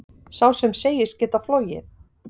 Sá sem segist geta flogið,